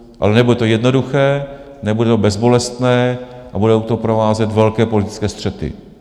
Ale nebude to jednoduché, nebude to bezbolestné, a budou to provázet velké politické střety.